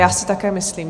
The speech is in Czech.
Já si také myslím.